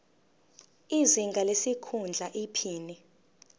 izinga lesikhundla iphini